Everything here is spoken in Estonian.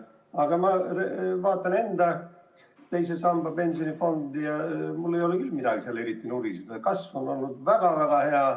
Aga kui ma vaatan enda II samba pensionifondi, siis mul ei ole küll põhjust eriti nuriseda: kasv on olnud väga-väga hea.